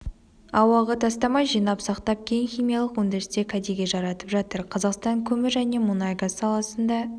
ауаға тастамай жинап сақтап кейін химиялық өндірісте кәдеге жаратып жатыр қазақстан көмір және мұнай-газ саласында